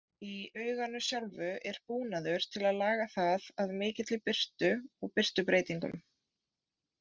Í auganu sjálfu er búnaður til að laga það að mikilli birtu og birtubreytingum.